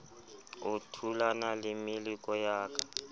o thulana le meleko ya